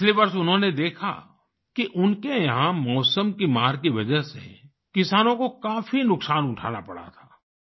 पिछले वर्ष उन्होंने देखा कि उनके यहाँ मौसम की मार की वजह से किसानों को काफी नुकसान उठाना पड़ा था